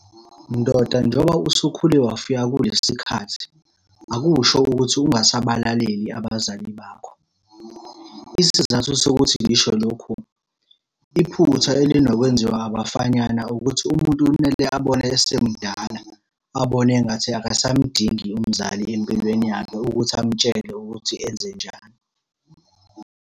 Ndoda njengoba usukhule wafika kulesi khathi, akusho ukuthi ungasabalaleli abazali bakho. Isizathu sokuthi ngisho lokhu, iphutha elinokwenziwa abafanyana ukuthi umuntu kumele abone esemdala, abone engathi akasamdingi umzali empilweni yakhe ukuthi amutshele ukuthi enzenjani.